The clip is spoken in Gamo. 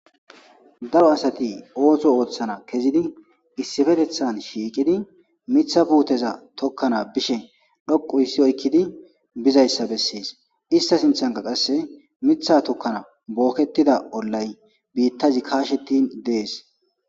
daro asati ooto ooththana kezidi issifetethan shiiqidi mitha puuteza tokkana bishe dhoqu issi oykkidi bizayssa bessies ista sinthanka qasse mitha tokkana bookketida ollay biittazi kaashetin dees